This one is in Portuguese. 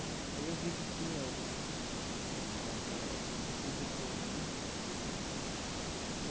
Aí eu vi que tinha algum ah algum retorno né.